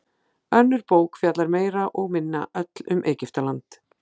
önnur bók fjallar meira og minna öll um egyptaland